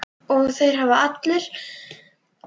Og þeir allir!